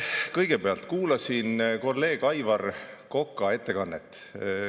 Kõigepealt ma kuulasin siis kolleeg Aivar Koka ettekannet.